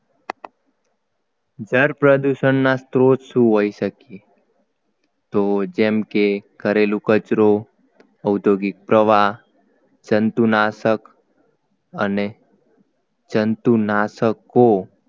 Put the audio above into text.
જળ પ્રદૂષણના સ્ત્રોત શું હોય શકે તો જેમ કે ઘરેલુ કચરો ઔદ્યોગિક પ્રવાહ જંતુનાશક અને જંતુનાશકો